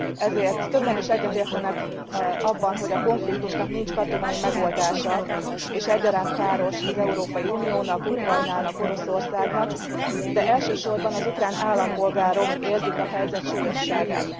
Ezért többen is egyetértenek abban, hogy a konfliktusnak nincs katonai megoldása és egyaránt káros az Európai Uniónak, Ukrajnának, Oroszországnak, de elsősorban az ukrán állampolgárok érzik a helyzet súlyosságát.